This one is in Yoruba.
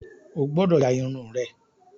O gbọ́dọ̀ ya Irun rẹ!